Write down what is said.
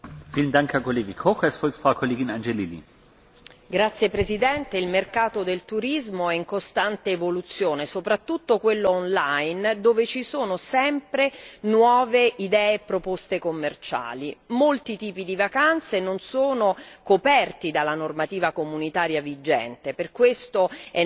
Signor Presidente, onorevoli colleghi, il mercato del turismo è in costante evoluzione, soprattutto quello online dove ci sono sempre nuove idee e proposte commerciali. Molti tipi di vacanze non sono coperti dalla normativa comunitaria vigente, per questo è necessaria la revisione